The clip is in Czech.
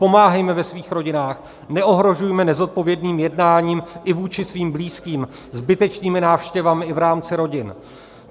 Pomáhejme ve svých rodinách, neohrožujme nezodpovědným jednáním i vůči svým blízkým zbytečnými návštěvami i v rámci rodin.